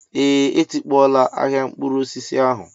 Ee, etikpọọla ahịa mkpụrụ osisi ahụ